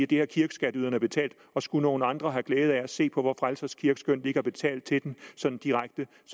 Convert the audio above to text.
det har kirkeskatteyderne betalt og skulle nogle andre have glæde af at se på vor frelsers kirke skønt de ikke har betalt til den sådan direkte